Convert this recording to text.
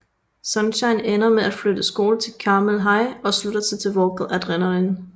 Sunshine ender med at flytte skole til Carmel High og slutter sig til Vocal Adrenaline